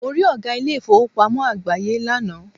Mo rí Ọ̀gá ilé ìfowópamọ́ àgbááyé lánàá